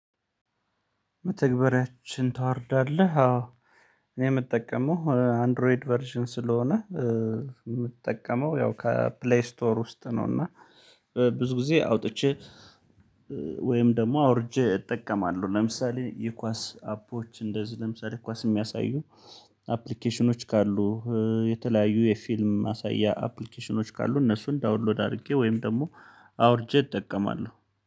መተግበሪያችን ታወርዳለህ አዎ። እኔ የምጠቀመው አንድሮይድ ቨርዥን ስለሆነ የምጠቀመው ያው ከፕሌይ ስቶር ውስጥ ነው። እና ብዙ ጊዜ አውጥቼ ወይም ደግሞ አውርጄ እጠቀማለሁ ለምሳሌ የኳስ አፖች እንደዚህ ለምሳሌ ኳስ የሚያሳዩ አፕሊኬሽኖች ካሉ የተለያዩ የፊልም ማሳያ አፕሊኬሽኖች ካሉ እነሱን ዳውንሎድ አድርጌ ወይም ደግሞ አውርጄ እጠቀማለሁ